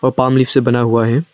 Palm leaf से बना हुआ है।